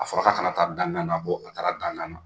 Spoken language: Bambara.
A fɔra k'a ka na taa dangan na, ko a taara dangan na.